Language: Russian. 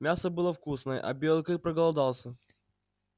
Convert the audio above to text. мясо было вкусное а белый клык проголодался